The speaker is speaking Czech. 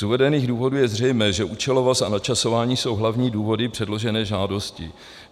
Z uvedených důvodů je zřejmé, že účelovost a načasování jsou hlavní důvody předložené žádosti.